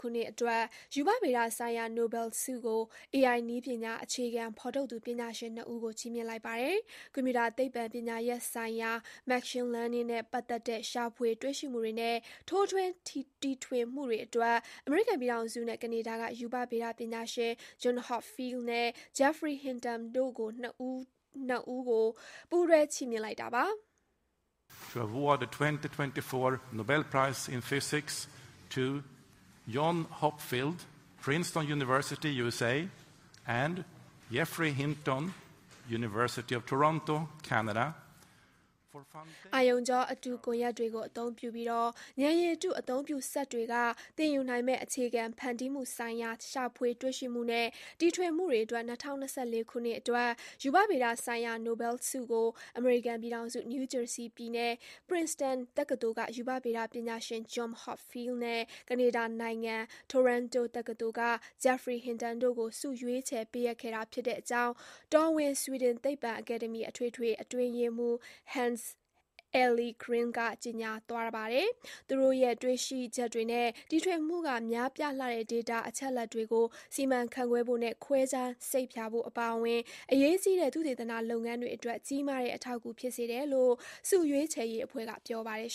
ခုနှစ်အတွက် ရူပဗေဒဆိုင်ရာ နိုဘယ်ဆုကို AI နည်းပညာ အခြေခံ ဖော်ထုတ်သူ ပညာရှင် ၂ ဦးကို ချီးမြှင့်လိုက်ပါတယ်။ ကွန်ပျူတာသိပ္ပံပညာရပ်ဆိုင်ရာ Machine Learning နဲ့ပတ်သက်တဲ့ရှာဖွေတွေ့ရှိမှုတွေနဲ့ ထိုးထွင်းတီထွင်မှုတွေအတွက် အမေရိကန်ပြည်ထောင်စုနဲ့ ကနေဒါက ရူပဗေဒပညာရှင် John Hopfield နဲ့ Geoffrey Hinton တို့နှစ်ဦးကို ပူးတွဲချီးမြှင့်လိုက်တာပါ။ အာရုံကြောအတု ကွန်ရက်တွေကိုအသုံးပြုပြီး ဉာဏ်ရည်တုအသုံးပြု စက်တွေကသင်ယူနိုင်မယ့် အခြေခံဖန်တီးမှုဆိုင်ရာ ရှာဖွေတွေ့ရှိမှုနဲ့ တီထွင်မှုတွေအတွက် ၂၀၂၄ ခုနှစ်အတွက် ရူပဗေဒဆိုင်ရာ နိုဘယ်ဆုကို အမေရိကန်ပြည်ထောင်စု နယူးဂျာဆီပြည်နယ် Princeton တက္ကသိုလ်က ရူပဗေဒပညာရှင် John Hopfield နဲ့ ကနေဒါနိုင်ငံ Toronto တက္ကသိုလ်က Geoffrey Hinton တို့ကို ဆုရွေးချယ်ပေးအပ်ခဲ့တာဖြစ်တဲ့အကြောင်း တော်ဝင် ဆွီဒင် သိပ္ပံ အကယ်ဒမီ အထွေထွေ အတွင်းရေးမှူး Hans Ellegren က ကြေညာသွားပါတယ်။ သူတို့ရဲ့ တွေ့ရှိချက်တွေနဲ့ တီထွင်မှုက များပြားလှတဲ့ ဒေတာအချက်အလက်တွေကို စီမံခန့်ခွဲဖို့နဲ့ ခွဲခြမ်းစိတ်ဖြာဖို့အပါအဝင် အရေးကြီးတဲ့ သုတေသနလုပ်ငန်းတွေအတွက် ကြီးမားတဲ့အထောက်အကူဖြစ်စေတယ်လို့ ဆုရွေးချယ်ရေးအဖွဲ့ကပြောပါတယ်